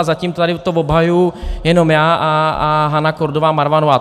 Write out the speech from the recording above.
A zatím to tady obhajuju jenom já a Hana Kordová Marvanová.